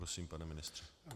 Prosím, pane ministře.